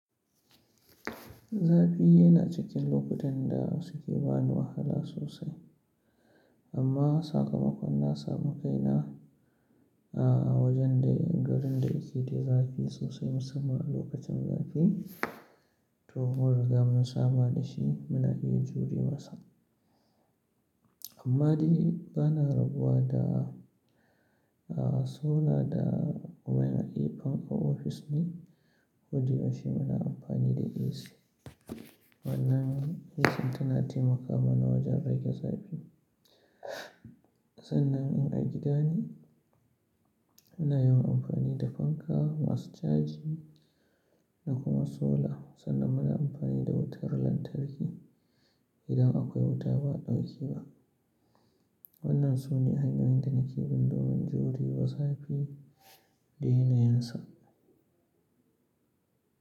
Zafi yana cikin lokutan da suke bani wahala sosai. Amma sakamakon na samun kaina, a wajen dai garin da yake da zafi sosai musamman a lokacin zafi. To, mun ruga mun saba da shi muna iya jure masa. Amma dai bana rabuwa da, a sola da wai na yi fanka ofis ne. Kodai shima na amfani da AC. Wannan AC tana taimakawa mana wajen rage zafi. Sannan in a gida ne, muna yawan amfani da fanka, masu chaji da kuma sola. Sannan muna amfani da wutar lantarki. Idan akwai wuta ba'a ɗauke ba. Wannan sune hanyoyin da nake bin domin juriwa zafi daina yinsa.